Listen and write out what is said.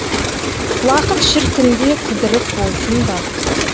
уақыт шіркінде кідіріс болсын ба